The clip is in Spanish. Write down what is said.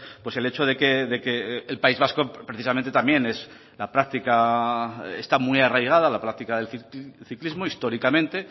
pues el hecho de que el país vasco precisamente también es la práctica está muy arraigada la práctica del ciclismo históricamente